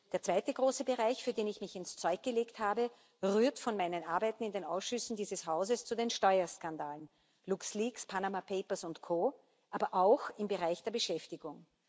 Der zweite große Bereich, für den ich mich ins Zeug gelegt habe, rührt von meinen Arbeiten in den Ausschüssen dieses Hauses zu den Steuerskandalen LuxLeaks, Panama Papers Co aber auch im Bereich der Beschäftigung.